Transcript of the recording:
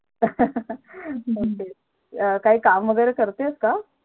काही काम वैगेरे करतेस का?